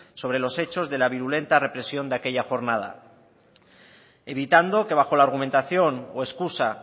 sobre los hechos de la virulenta represión de aquella jornada evitando que bajo la argumentación o excusa